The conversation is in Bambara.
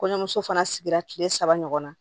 Kɔɲɔmuso fana sigira tile saba ɲɔgɔn na